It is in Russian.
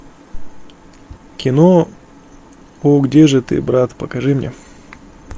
кино ну где же ты брат покажи мне